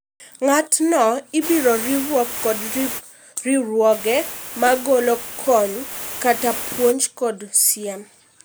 Ng'at no ibiro riw kod riwruoge ma golo kony kata puonj kod siem